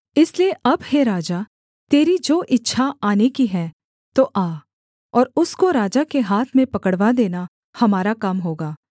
इसलिए अब हे राजा तेरी जो इच्छा आने की है तो आ और उसको राजा के हाथ में पकड़वा देना हमारा काम होगा